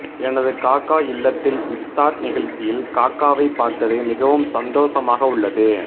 எனது காக்கா இல்லத்தில் இப்தார் நிகழ்ச்சியில் காக்காவை பார்த்தது மிகவும் சந்தோசமாக உள்ளது